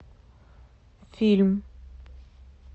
фильм